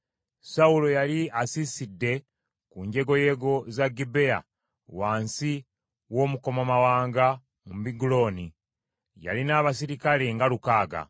Sawulo yali asiisidde ku njegoyego za Gibea wansi w’omukomamawanga mu Migulooni. Yalina abaserikale nga lukaaga;